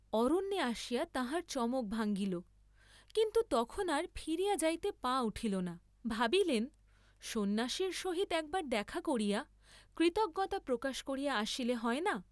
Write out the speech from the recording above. অরণ্যে আসিয়া তাঁহার চমক ভাঙ্গিল, কিন্তু তখন আর ফিরিয়া যাইতে পা উঠিল না, ভাবিলেন সন্ন্যাসীর সহিত একবার দেখা করিয়া কৃতজ্ঞতা প্রকাশ করিয়া আসিলে হয় না।